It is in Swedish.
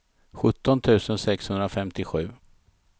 sjutton tusen sexhundrafemtiosju